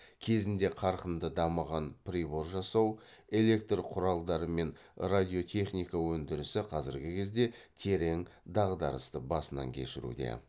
кезінде қарқынды дамыған прибор жасау электр құралдары мен радиотехника өндірісі қазіргі кезде терең дағдарысты басынан кешіруде